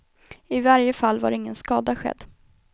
I varje fall var ingen skada skedd.